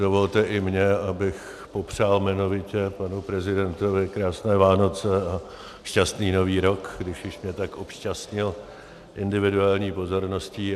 Dovolte i mně, abych popřál jmenovitě panu prezidentovi krásné Vánoce a šťastný Nový rok, když už mě tak obšťastnil individuální pozorností.